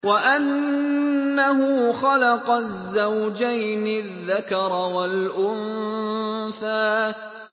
وَأَنَّهُ خَلَقَ الزَّوْجَيْنِ الذَّكَرَ وَالْأُنثَىٰ